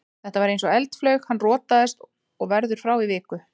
Þetta var eins og eldflaug, hann rotaðist og verður frá í viku.